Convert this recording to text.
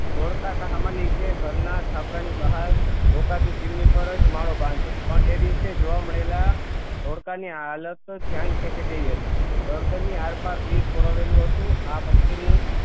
ધોળકા સામા નીચે ઘરના છાપરા ની બહાર ડોકાતી ચીમની પર જ માળો બાંધે પણ એ દિવસે જોવા મળેલા ધોળકા ની હાલત ધ્યાન ખેચે તેવી હતી ગર્દન ની આરપાર તીર પરોવેલું હતું આ પક્ષી નું